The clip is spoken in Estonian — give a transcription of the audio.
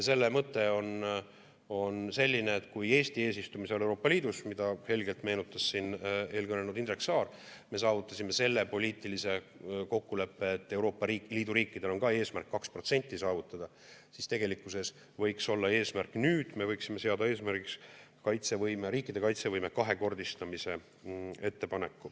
Selle mõte on selline, et kui Eesti eesistumise ajal Euroopa Liidus, mida helgelt meenutas siin eelkõnelenud Indrek Saar, me saavutasime poliitilise kokkuleppe, et Euroopa Liidu riikidel on ka eesmärk 2% saavutada, siis tegelikkuses nüüd me võiksime seada eesmärgiks riikide kaitsevõime kahekordistamise.